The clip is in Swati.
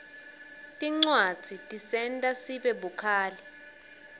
tincwadzi tisenta sibe bukhali